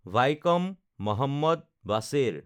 Vaikom Muhammad Basheer